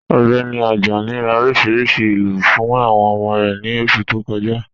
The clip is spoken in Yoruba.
Ọgbẹni Ajani rá oríṣiríṣí ilú fún awọn ọmọ rẹ ni oṣù tó kọ̀ja..